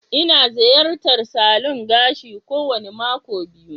Ina ziyartar salon gashi kowane mako biyu.